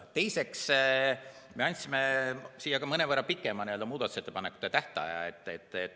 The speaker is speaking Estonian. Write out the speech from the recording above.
Teiseks, me andsime siia ka mõnevõrra pikema muudatusettepanekute esitamise tähtaja.